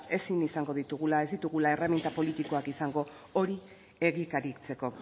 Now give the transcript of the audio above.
ezin izango ditugula ez ditugula erreminta politikak izango hori egikaritzeko